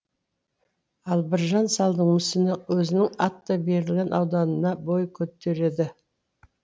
ал біржан салдың мүсіні өзінің аты берілген ауданына бой көтереді